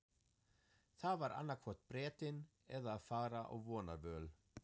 Það var annaðhvort Bretinn eða að fara á vonarvöl.